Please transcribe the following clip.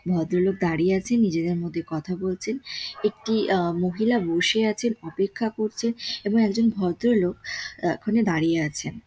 ভদ্রলোক দাঁড়িয়ে আছেন। নিজেদের মধ্যে কথা বলছেন । একটি আ মহিলা বসে আছেন অপেক্ষা করছেন এবং একজন ভদ্রলোক ওখানে আ দাঁড়িয়ে আছেন।